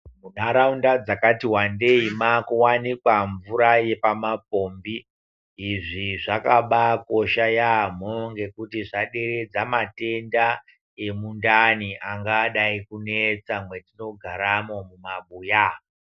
Muntaraunda dzakati wandei, makuwanikwa mvura yepamapombi. Izvi zvakabaakosha yaamho ngekuti zvaderedza, matenda emundani anga adai kunetsa mwetinogaramo, mumabuya.